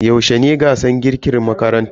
Yaushe ne gasar girkin makarantar ku?